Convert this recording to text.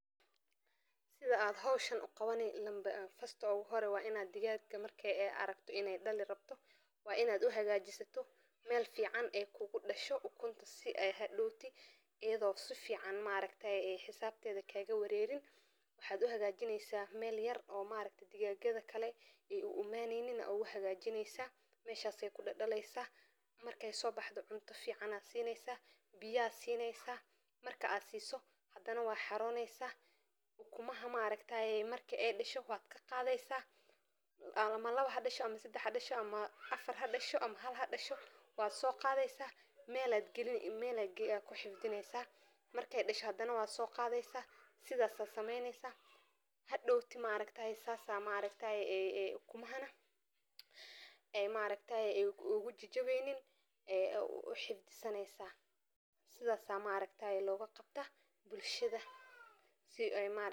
Sidha aad hoshan uqabani [c]first[c] uguhore waa. Si aan howsha si wanaagsan u qabto, waxa aan marka hore qorsheyn lahaa shaqada si taxaddar leh, anigoo u kala hormarinaya sida ay u kala muhiimsan tahay. Waxa aan hubin lahaa in aan heysto dhammaan agabka iyo macluumaadka loo baahan yahay ka hor inta aanan bilaabin. Inta aan shaqada qabanayo, waxa aan si joogto ah isha ugu hayn doonaa tayada iyo waqtiga, si aan u hubiyo in wax walba si sax ah u socdaan. Haddii ay wax caqabado ah soo baxaan, waxa aan isku dayi lahaa in aan si degan oo xal-doon ah uga fakaro, isla markaana la tashado haddii loo baahdo.